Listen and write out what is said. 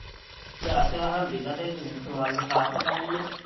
ਜਾ ਹਲਦੀ ਤਾਂ ਦੇਦੇ ਸਵਾਦ ਵਾਖਾ ਕਿੱਦਾਂ ਦੀ ਹੈ।